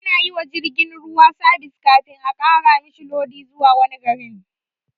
Anayiwa jirgin ruwa sabis kafin a ƙara mishi lodi zuwa wani garin